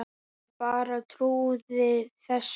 Ég bara trúði þessu ekki.